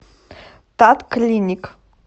татклиник